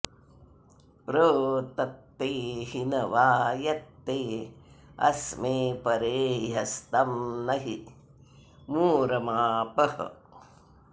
प्र तत्ते हिनवा यत्ते अस्मे परेह्यस्तं नहि मूर मापः